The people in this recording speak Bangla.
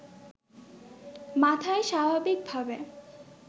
মাথায় স্বাভাবিকভাবে